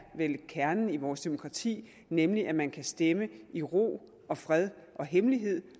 kernen i vores demokrati nemlig at man kan stemme i ro og fred og hemmelighed